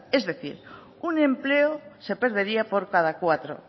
es decir un empleo se perdería por cada cuatro